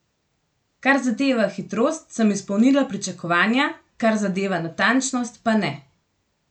Kar zadeva hitrost, sem izpolnila pričakovanja, kar zadeva natančnost, pa ne.